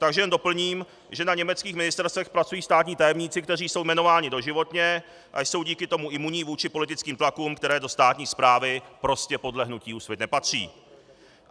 Takže jen doplním, že na německých ministerstvech pracují státní tajemníci, kteří jsou jmenováni doživotně a jsou díky tomu imunní vůči politickým tlakům, které do státní správy prostě podle hnutí Úsvit nepatří.